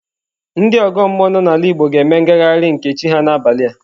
Ndị ọgọ mmụọ nọ n'ala Igbo ga-eme ngagharị nke chi ha n'abalị a.